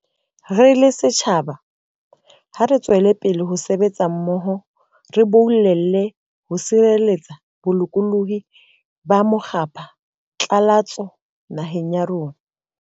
Re le setjhaba, ha re tsweleng pele ho sebetsa mmoho re boulele ho tshireletsa bolokolohi ba mokgwapha tlalatso naheng ya rona.